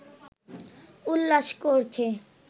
উল্লাস করছে